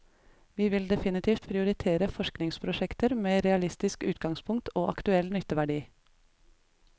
Vi vil definitivt prioritere forskningsprosjekter med realistisk utgangspunkt og aktuell nytteverdi.